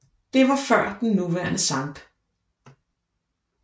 Det var før den nuværende Sct